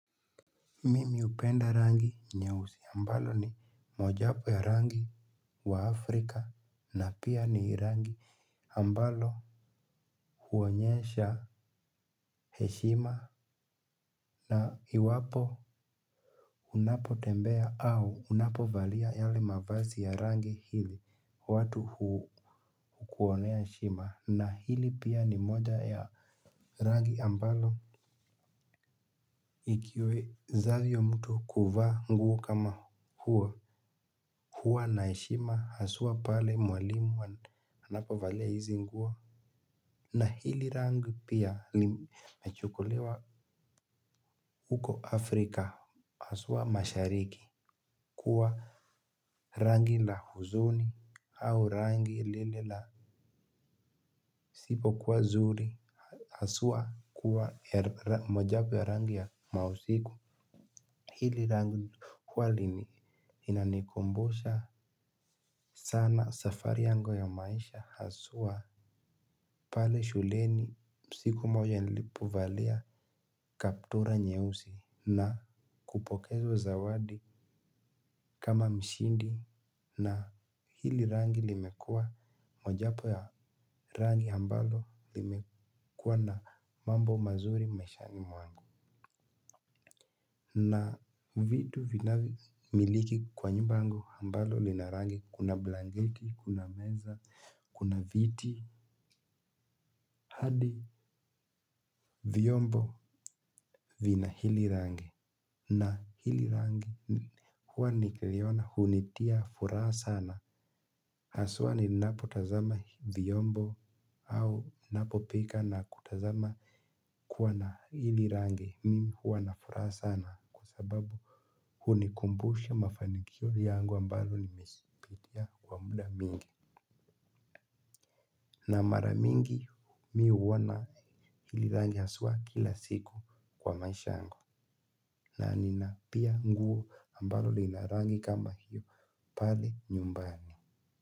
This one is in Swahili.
Mimi hupenda rangi nye usi ambalo ni mojawapo ya rangi wa afrika na pia ni rangi ambalo huonyesha heshima na iwapo unapo tembea au unapo valia yale mavazi ya rangi hili watu hukuonea heshima na hili pia ni moja ya rangi ambalo ikiwe zavyo mtu kuvaa nguo kama huo. Huwa naheshima haswa pale mwalimu anapovalia hizi nguo. Na hili rangi pia limechukuliwa. Huko Afrika haswa mashariki kuwa rangi la huzuni. Au rangi lile la sipo kuwa nzuri haswa kuwa mojawapo ya rangi ya mausiku. Hili rangi huwa linanikumbusha sana safari yangu ya maisha haswa. Pale shuleni siku moja nilipo valia kaptura nyeusi na kupokezwa zawadi kama mshindi na hili rangi limekua mojawapo ya rangi ambalo limekua na mambo mazuri maisha ni mwangu. Na vitu vinavyo miliki kwa nyumba yangu ambalo linarangi kuna blanketi, kuna meza, kuna viti. Hadi vyombo vina hili rangi na hili rangi huwa nikiliona hunitia furaha sana haswa ni napotazama vyombo au ninapopika na kutazama kuwa na hili rangi mimi huwa na furaha sana. Kwa sababu hunikumbusha mafanikio yangu ambalo nimezipitia kwa muda mingi. Na maramingi mimi huwana hili rangi haswa kila siku kwa maisha yangu nanina pia nguo ambalo li narangi kamahiyo pale nyumbani.